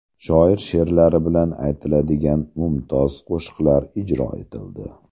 Shoir she’rlari bilan aytiladigan mumtoz qo‘shiqlar ijro etildi.